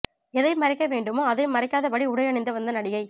எதை மறைக்க வேண்டுமோ அதை மறைக்காதபடி உடை அணிந்து வந்த நடிகை